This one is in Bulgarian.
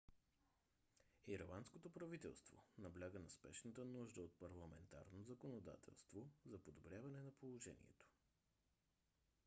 ирландското правителство набляга на спешната нужда от парламентарно законодателство за подобряване на положението